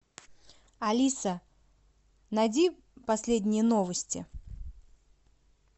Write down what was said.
алиса найди последние новости